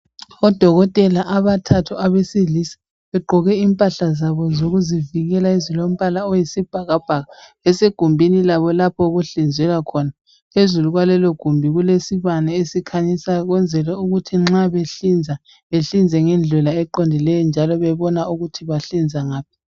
Odokotela abathathu abesilisa. Begqoke impahla zabo zokuzivikela, ezilombala oyisibhakabhaka. Besegumbini labo, lapho okuhlinzelwa khona. Phezulu kwalelogumbi kulesibani esikhanyisayo. Ukwenzela ukuthi nxa behlinza bahlinze ngendlela eqondileyo, njalo bebona ukuthi bahlinza ngaphi.